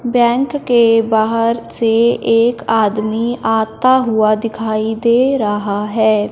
Bank के बाहर से एक आदमी आता हुआ दिखाई दे रहा है।